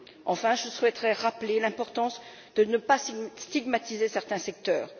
Enfin, je souhaiterais rappeler l'importance de ne pas stigmatiser certains secteurs.